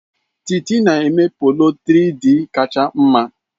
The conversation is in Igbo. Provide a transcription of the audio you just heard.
Titi na-eme polo 3-Dịị kacha mma.